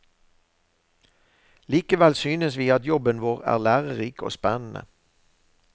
Likevel synes vi at jobben vår er lærerik og spennende.